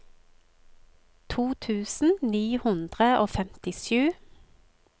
to tusen ni hundre og femtisju